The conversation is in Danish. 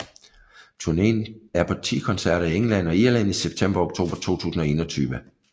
Turneen er på ti koncerter i England og Irland i september og oktober 2021